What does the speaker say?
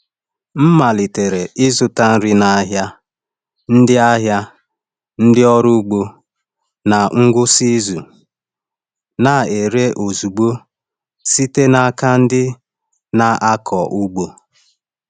M malitere ịzụta nri n’ahịa ndị n’ahịa ndị ọrụ ugbo na ngwụsị izu na-ere ozugbo site n’aka ndị na-akọ ugbo.